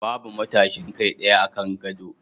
Babu matashin kai ɗaya akan gado